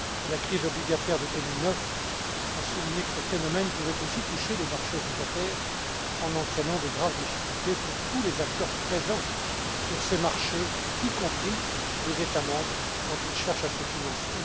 La crise obligataire de 2009 a souligné que ces phénomènes pouvaient aussi toucher les marchés obligataires en entraînant de graves difficultés pour tous les acteurs présents sur ces marchés, y compris les États membres quand ils cherchent à se financer.